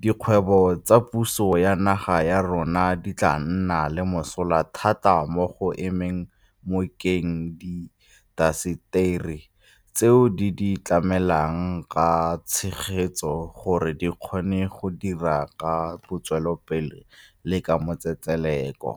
dikgwebo tsa puso ya naga ya rona di tla nna le mosola thata mo go emeng nokeng diintaseteri tseo di di tlamelang ka tshegetso gore di kgone go dira ka botswapelo le ka matsetseleko.